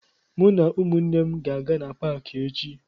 Mụ na ụmụnne m ga-aga na paakị echi